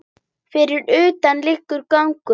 Fyrir utan langur gangur.